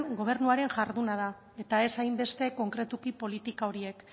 gobernuaren jarduna da eta ez hainbeste konkretuki politika horiek